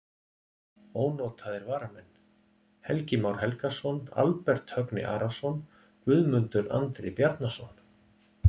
Ónotaðir varamenn: Helgi Már Helgason, Albert Högni Arason, Guðmundur Andri Bjarnason.